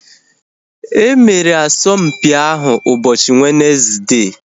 Emere asọmpi ahu ụbọchị Wenezde